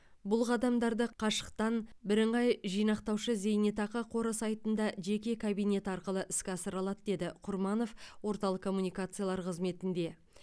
бұл қадамдарды қашықтан бірыңғай жинақтаушы зейнетақы қоры сайтында жеке кабинет арқылы іске асыры алады деді құрманов орталық коммуникациялар қызметінде